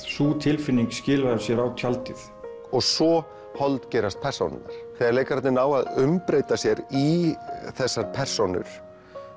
sú tilfinning skilaði sér á tjaldið svo persónurnar þegar leikararnir ná að umbreyta sér i þessar persónur